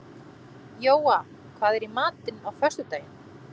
Jóa, hvað er í matinn á föstudaginn?